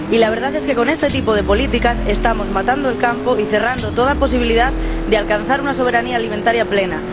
Y la verdad es que, con este tipo de políticas, estamos matando el campo y cerrando toda posibilidad de alcanzar una soberanía alimentaria plena.